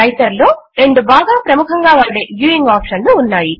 writer లో రెండు బాగా ప్రముఖముగా వాడే వ్యూయింగ్ ఆప్షన్లు ఉన్నాయి